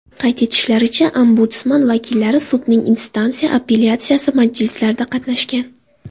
Qayd etishlaricha, Ombudsman vakillari sudning instansiya apellyatsiyasi majlislarida qatnashgan.